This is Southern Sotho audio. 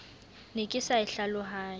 ne ke sa e hlalohanye